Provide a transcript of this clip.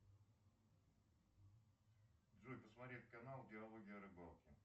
джой посмотреть канал диалоги о рыбалке